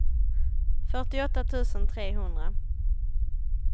fyrtioåtta tusen trehundra